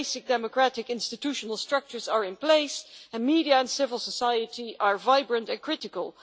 The basic democratic institutional structures are in place, and media and civil society are vibrant and critical.